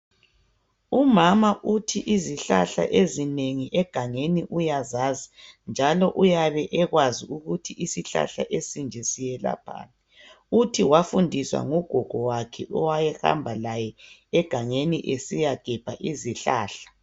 Umama uthi izihlahla ezinengi egangeni uyazazi njalo uyabe ekwazi ukuthi isihlahla esinje siyelaphani. Uthi wafundiswa ngugogo wakhe owayehamba laye egangeni esiyagebha izihlahla.